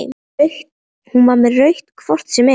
Hún var með rautt hvort sem er.